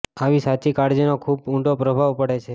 આવી સાચી કાળજીનો ખુબ જ ઉંડો પ્રભાવ પડે છે